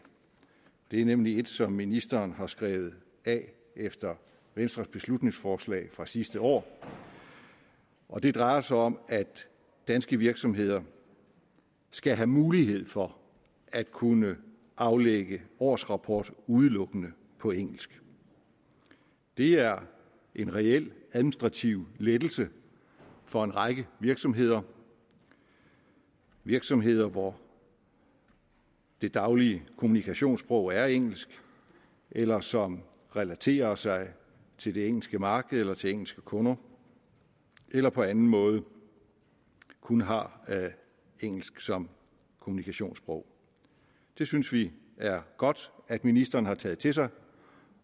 det er nemlig et som ministeren har skrevet af efter venstres beslutningsforslag fra sidste år og det drejer sig om at danske virksomheder skal have mulighed for at kunne aflægge årsrapport udelukkende på engelsk det er en reel administrativ lettelse for en række virksomheder virksomheder hvor det daglige kommunikationssprog er engelsk eller som relaterer sig til det engelske marked eller til engelske kunder eller på anden måde kun har engelsk som kommunikationssprog det synes vi er godt at ministeren har taget til sig